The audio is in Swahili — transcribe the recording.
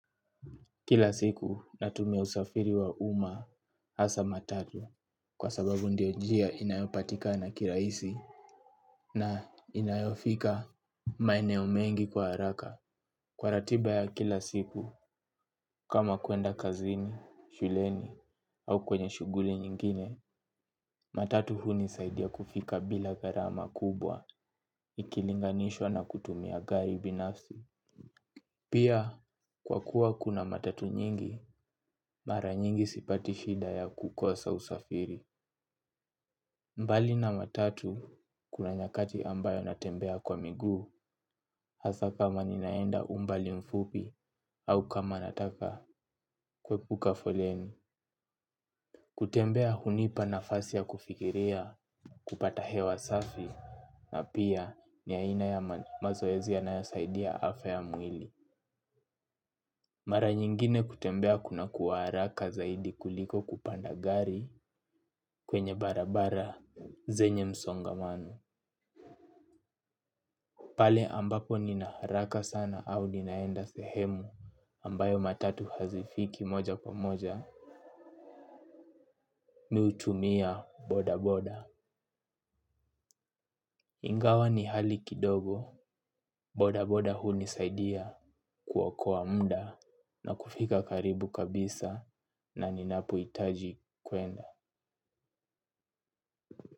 Kila siku natumia usafiri wa umma hasa matatu kwa sababu ndio njia inayopatika na kirahisi na inayofika maeneo mengi kwa haraka. Kwa ratiba ya kila siku kama kuenda kazini, shuleni au kwenye shughuli nyingine, matatu hunisaidia kufika bila gharama kubwa ikilinganishwa na kutumia gari binafsi. Pia, kwa kuwa kuna matatu nyingi, mara nyingi sipati shida ya kukosa usafiri. Mbali na matatu, kuna nyakati ambayo natembea kwa miguu, hasa kama ninaenda umbali mfupi, au kama nataka kuepuka foleni. Kutembea hunipa nafasi ya kufikiria, kupata hewa safi, na pia ni aina ya mazoezi yanayo saidia afya ya mwili. Mara nyingine kutembea kunakuwa haraka zaidi kuliko kupanda gari kwenye barabara zenye msongamano. Pale ambapo nina haraka sana au ninaenda sehemu ambayo matatu hazifiki moja kwa moja mi hutumia boda boda. Ingawa ni hali kidogo boda boda hunisaidia kuokoa muda na kufika karibu kabisa na ninapohitaji kuenda.